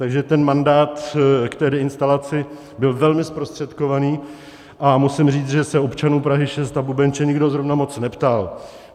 Takže ten mandát k té deinstalaci byl velmi zprostředkovaný a musím říct, že se občanů Prahy 6 a Bubenče nikdo zrovna moc neptal.